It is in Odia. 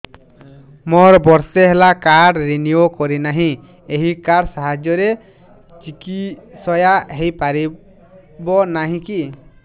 ମୋର ବର୍ଷେ ହେଲା କାର୍ଡ ରିନିଓ କରିନାହିଁ ଏହି କାର୍ଡ ସାହାଯ୍ୟରେ ଚିକିସୟା ହୈ ପାରିବନାହିଁ କି